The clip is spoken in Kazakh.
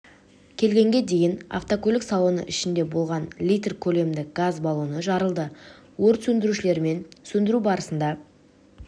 келгенге дейін автокөлік салоны ішінде болған литр көлемді газ баллоны жарылды өрт сөндірушілермен сөндіру барысында